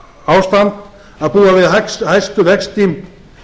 ástand að búa við hæstu vexti